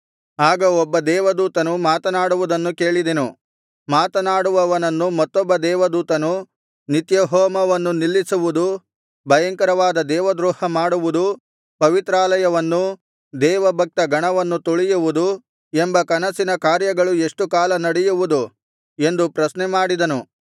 ಆಗ ಒಬ್ಬ ದೇವದೂತನು ಮಾತನಾಡುವುದನ್ನು ಕೇಳಿದೆನು ಮಾತನಾಡುವವನನ್ನು ಮತ್ತೊಬ್ಬ ದೇವದೂತನು ನಿತ್ಯಹೋಮವನ್ನು ನಿಲ್ಲಿಸುವುದು ಭಯಂಕರವಾದ ದೇವದ್ರೋಹ ಮಾಡುವುದು ಪವಿತ್ರಾಲಯವನ್ನೂ ದೇವಭಕ್ತ ಗಣವನ್ನು ತುಳಿಯುವುದು ಎಂಬ ಕನಸಿನ ಕಾರ್ಯಗಳು ಎಷ್ಟು ಕಾಲ ನಡೆಯುವುದು ಎಂದು ಪ್ರಶ್ನೆಮಾಡಿದನು